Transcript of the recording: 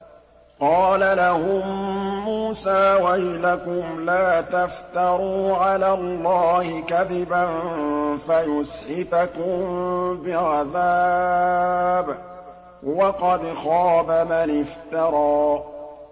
قَالَ لَهُم مُّوسَىٰ وَيْلَكُمْ لَا تَفْتَرُوا عَلَى اللَّهِ كَذِبًا فَيُسْحِتَكُم بِعَذَابٍ ۖ وَقَدْ خَابَ مَنِ افْتَرَىٰ